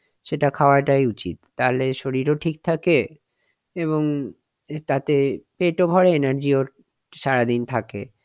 সেটা খাওয়াটাই উচিত, তাতে শরীরও ঠিক থাকে এবং তাতে পেট ও ভরে আবার energy ও সারাদিন থাকে,